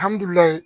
Alihamudulila